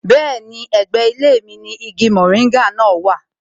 Bẹ́ẹ̀ni, ẹ̀gbẹ́ ilé mi ni igi moringa náà wà